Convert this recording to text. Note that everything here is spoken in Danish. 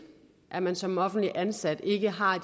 at man som offentligt ansat ikke har